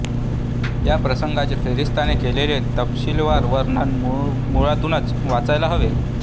या प्रसंगाचे फेरिस्ताने केलेले तपशिलवार वर्णन मुळातूनच वाचायला हवे